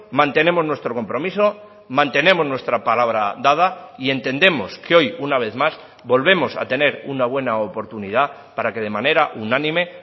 mantenemos nuestro compromiso mantenemos nuestra palabra dada y entendemos que hoy una vez más volvemos a tener una buena oportunidad para que de manera unánime